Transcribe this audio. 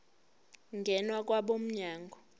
ngena kwabo mnyango